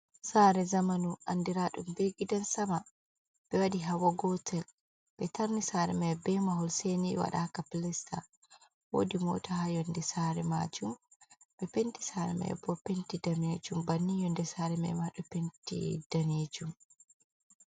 Sare zamanu andiraɗum be gidan sama, ɓe waɗi hawa gotel ɓe tarni sare mai be mahol seni waɗaka pilesta wodi mota ha yonde sare majum ɓe penti sare mai bo penti damejum banni yonde sare maima ɗo penti damejum.